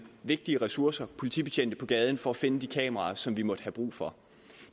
vigtige ressourcer politibetjente på gaden for at finde de kameraer som vi måtte have brug for